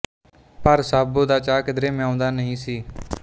ਭਰ ਸਾਹਬੋ ਦਾ ਚਾਅ ਕਿਧਰੇ ਮਿਉਂਦਾ ਨਹੀਂ ਸੀ